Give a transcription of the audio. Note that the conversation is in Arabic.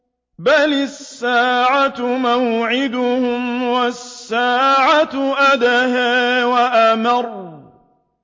بَلِ السَّاعَةُ مَوْعِدُهُمْ وَالسَّاعَةُ أَدْهَىٰ وَأَمَرُّ